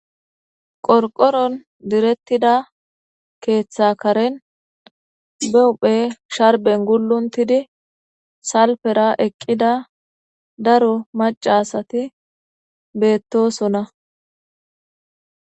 Qorqoron diretida keetha Karen be huuphe sharben gulotidi salfera eqida daro maca asati beetosona.